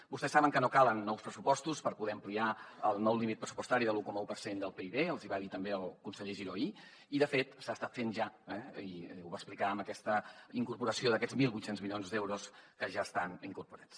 vostès saben que no calen nous pressupostos per poder ampliar el nou límit pressupostari del un coma un per cent del pib els hi va dir també el conseller giró ahir i de fet s’ha estat fent ja eh i ho va explicar amb aquesta incorporació d’aquests mil vuit cents milions d’euros que ja estan incorporats